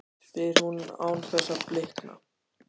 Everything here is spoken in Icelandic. spyr hún án þess að blikna.